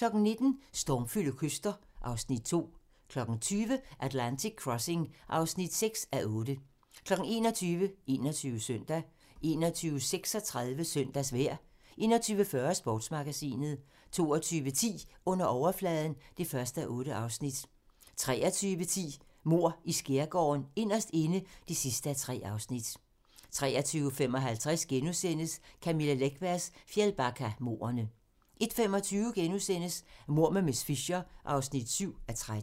19:00: Stormfulde kyster (Afs. 2) 20:00: Atlantic Crossing (6:8) 21:00: 21 Søndag 21:36: Søndagsvejr 21:40: Sportsmagasinet 22:10: Under overfladen (1:8) 23:10: Mord i Skærgården: Inderst inde (3:3) 23:55: Camilla Läckbergs Fjällbackamordene * 01:25: Mord med miss Fisher (7:13)*